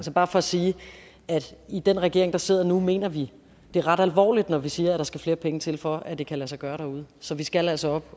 bare for at sige at i den regering der sidder nu mener vi det ret alvorligt når vi siger at der skal flere penge til for at det kan lade sig gøre derude så vi skal altså op